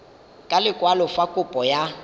ka lekwalo fa kopo ya